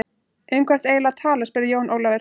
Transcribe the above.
Um hvað ertu eiginlega að tala spurði Jón Ólafur.